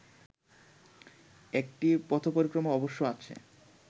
একটি পথপরিক্রমা অবশ্য আছে